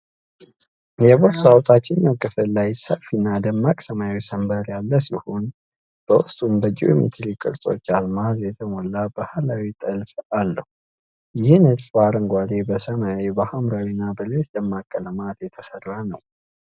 የቦርሳው ታችኛው ክፍል ላይ ሰፊና ደማቅ ሰማያዊ ሰንበር ያለ ሲሆን፣ በውስጡም በጂኦሜትሪ ቅርጾች አልማዝ የተሞላ ባህላዊ ጥልፍ አለው። ይህ ንድፍ በአረንጓዴ፣ በሰማያዊ፣ በሐምራዊ እና በሌሎች ደማቅ ቀለማት የተሰራ ነው።